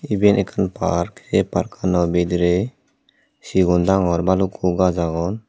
iben ekkan park ei parkano bidirey sigon dangor bhalukku gaj agon.